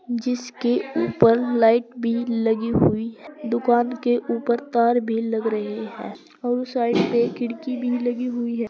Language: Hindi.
जिसके ऊपर लाइट भी लगी हुई दुकान के ऊपर तार भी लग रहे हैं और साइड पे खिड़की भी लगी हुई है।